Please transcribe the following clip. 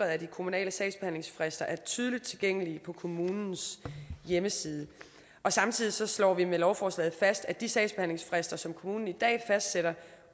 at de kommunale sagsbehandlingsfrister er tydeligt tilgængelige på kommunens hjemmeside samtidig slår vi med lovforslaget fast at de sagsbehandlingsfrister som kommunen i dag fastsætter